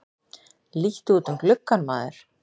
Líttu út um gluggann, maður!